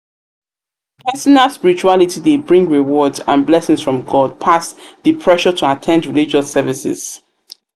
personal spirituality de bring rewards and blessings from god pass di pressure to at ten d religious services